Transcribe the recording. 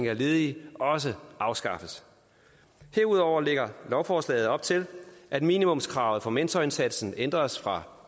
af ledige også afskaffes herudover lægger lovforslaget op til at minimumskravet for mentorindsatsen ændres fra